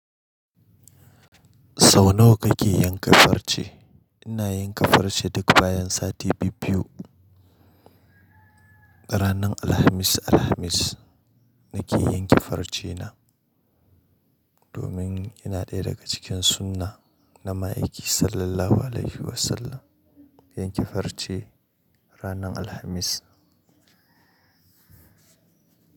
Sau nawa kake yanka farce? Ina yanka farce duk bayan sati biyu-biyu. Ranar Alhamis Alhamis nake yanke farce na, domin yana ɗaya daga cikin sunna na ma'aiki Sallallahu Alaihi Wasallam, yanke farce ranar Alhamis.